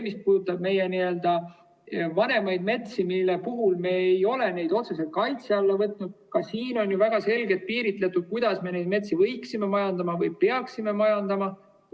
Mis puudutab meie vanemaid metsi, mida me ei ole otseselt kaitse alla võtnud, siis ka siin on ju väga selgelt piiritletud, kuidas me neid metsi võiksime majandada või peaksime majandama.